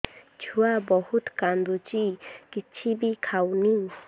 ଛୁଆ ବହୁତ୍ କାନ୍ଦୁଚି କିଛିବି ଖାଉନି